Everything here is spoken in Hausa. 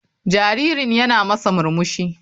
Jaririn yana masa murmushi.